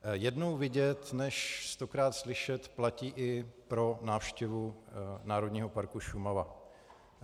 Jednou vidět než stokrát slyšet platí i pro návštěvu Národního parku Šumava.